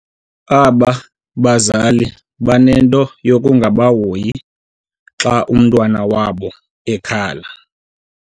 Aba bazali banento yokungahoyi xa umntwana wabo ekhala.